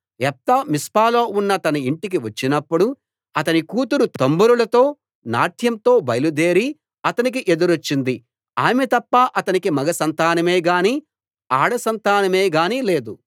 యెఫ్తా మిస్పాలో ఉన్న తన ఇంటికి వచ్చినప్పుడు అతని కూతురు తంబురలతో నాట్యంతో బయలుదేరి అతనికి ఎదురొచ్చింది ఆమె తప్ప అతనికి మగ సంతానమేగాని ఆడసంతానమేగాని లేదు